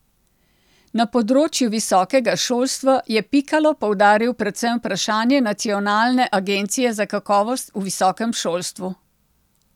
Na področju visokega šolstva je Pikalo poudaril predvsem vprašanje Nacionalne agencije za kakovost v visokem šolstvu.